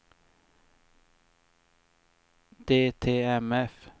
DTMF